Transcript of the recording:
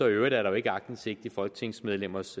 øvrigt er der jo ikke aktindsigt i folketingsmedlemmers